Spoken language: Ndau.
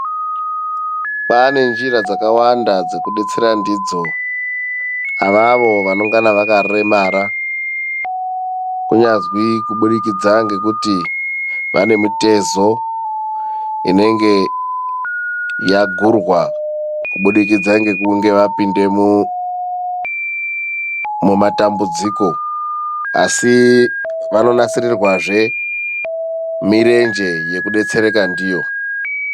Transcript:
Kwaane njira dzakawanda dzekudetsera ndidzo avavo vanongana vakaremara. Kunyazwi kubudikidza ngekuti vane mitezo inenge yagurwa kubudikidza ngekunge vapinda mumatambudziko, asi vanonasirirwazve mirenje yekudetsereka ndiyo.